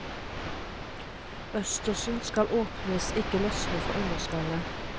Østersen skal åpnes, ikke løsne fra underskallet.